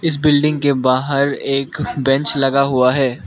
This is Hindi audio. इस बिल्डिंग के बाहर एक बेंच लगा हुआ है।